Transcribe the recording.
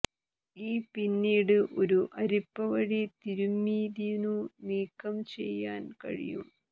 ഈ പിന്നീട് ഒരു അരിപ്പ വഴി തിരുമ്മിതിന്നു നീക്കം ചെയ്യാൻ കഴിയും